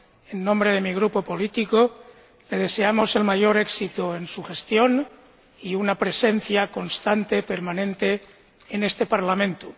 En nombre de mi Grupo, le deseamos el mayor éxito en su gestión y una presencia constante, permanente, en este Parlamento.